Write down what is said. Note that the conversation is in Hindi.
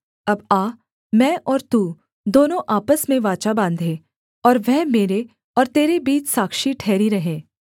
अब आ मैं और तू दोनों आपस में वाचा बाँधें और वह मेरे और तेरे बीच साक्षी ठहरी रहे